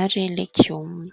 ary legioma.